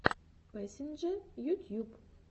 пэсинджэ ютьюб